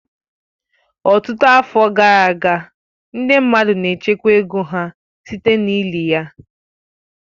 Ọtụtụ afọ gara aga, ndị mmadụ n'echekwa ego ha site na-ili ya.